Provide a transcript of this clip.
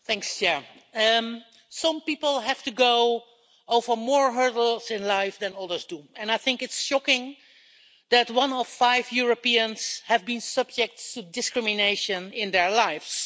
Mr President, some people have to go over more hurdles in life than others do, and I think it's shocking that one in five Europeans have been subject to discrimination in their lives.